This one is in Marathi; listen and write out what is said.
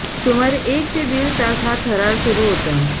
सुमारे एक ते दीड तास हा थरार सुरू होता